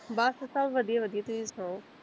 ਬਸ ਸਭ ਵਧੀਆ ਵਧੀਆ ਤੁਹੀ ਸੁਣਾਓ?